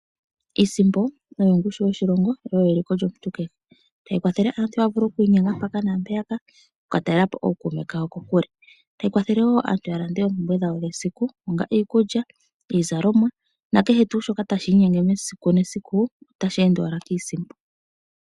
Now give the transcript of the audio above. Iisimpo oyo ongushu yoshilongo yo oyo eliko lyomuntu kehe. Ohayi kwathele aantu okwiinyenga mpaka naampeyaka, oku ka talela po ookuume kawo kokule. Ohayi kwathele wo aantu ya lande oompumbwe dhawo dhesiku, ongele iikulya, iizalomwa nakehe tuu shoka tashi inyenge mesiku nesiku otashi ende owala kiisimpo.